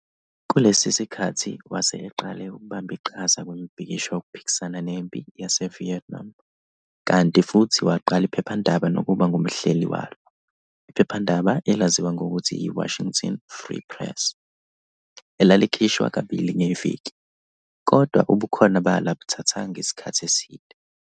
Kulesi sikhathi wase eqale ukubamba iqhaza kwimibhikisho yokuphikisana nempi yaseVietnam, kanti futhi waqala iphephandaba nokuba ngumhleli walo, iphephandaba elaziwa ngokuthi yi- "Washington Free Press", elalikhishwa kabili ngeviki, kodwa ubukhona balo abuthathanga isikhathi eside.